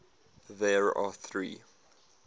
there are three